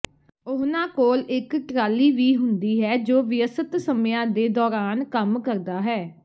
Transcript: ਉਹਨਾਂ ਕੋਲ ਇਕ ਟਰਾਲੀ ਵੀ ਹੁੰਦੀ ਹੈ ਜੋ ਵਿਅਸਤ ਸਮਿਆਂ ਦੇ ਦੌਰਾਨ ਕੰਮ ਕਰਦਾ ਹੈ